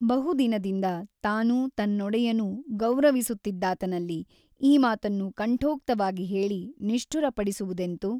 ಬಹುದಿನದಿಂದ ತಾನೂ ತನ್ನೊಡೆಯನೂ ಗೌರವಿಸುತ್ತಿದ್ದಾತನಲ್ಲಿ ಈ ಮಾತನ್ನು ಕಂಠೋಕ್ತವಾಗಿ ಹೇಳಿ ನಿಷ್ಠುರಪಡಿಸುವುದೆಂತು?